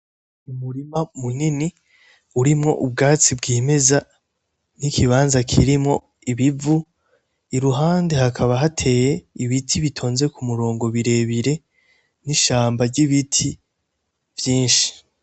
Umurima munini ,urimwo ubwatsi bwimeza, n'ikibanza kirimwo Ibivu, iruhande hakaba hateye ibiti bitonze k'umurongo birebire ,n'ishamba ry'ibiti vyinshi.